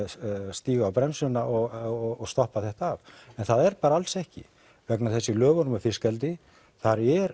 stíga á bremsuna og stoppa þetta af en það er bara alls ekki vegna þess að í lögum um fiskeldi þar er